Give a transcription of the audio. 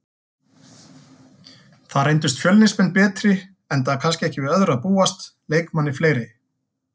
Þar reyndust Fjölnismenn betri enda kannski ekki við öðru að búast, leikmanni fleiri.